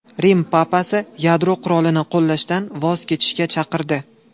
Rim papasi yadro qurolini qo‘llashdan voz kechishga chaqirdi.